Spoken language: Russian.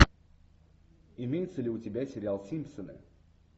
имеется ли у тебя сериал симпсоны